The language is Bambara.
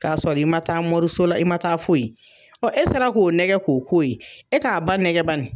K'a sɔr i ma taa mɔriso la i ma taa foyi ye ɔ e sera k'o nɛgɛ k'o k'o ye e t'a ba nɛgɛ bani